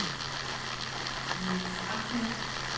Niels Ahmad